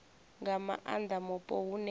nga maanda mupo hune ha